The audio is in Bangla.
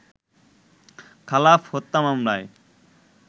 খালাফ হত্যা মামলায়